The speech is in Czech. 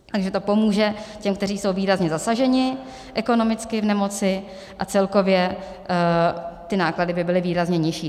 Takže to pomůže těm, kteří jsou výrazně zasaženi ekonomicky v nemoci, a celkově ty náklady by byly výrazně nižší.